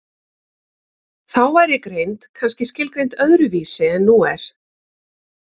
Þá væri greind kannski skilgreind öðru vísi en nú er.